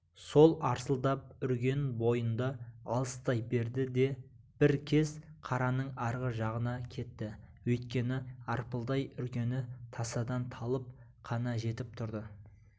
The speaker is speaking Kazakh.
сол арсылдап үрген бойында алыстай берді де бір кез қараның арғы жағына кетті өйткені арпылдай үргені тасадан талып қана жетіп тұрды